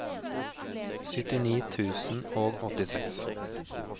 syttini tusen og åttiseks